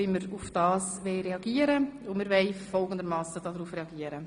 Wir haben uns überlegt, wie wir reagieren wollen, und wir wollen folgendermassen reagieren.